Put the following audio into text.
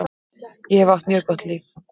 Ég hef átt mjög gott líf.